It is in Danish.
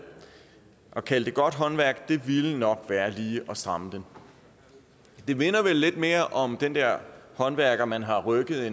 at kalde det godt håndværk ville nok være lige at stramme den det minder vel lidt mere om den der håndværker man har rykket